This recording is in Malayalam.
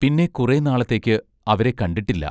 പിന്നെ കുറെ നാളത്തേക്ക് അവരെ കണ്ടിട്ടില്ല.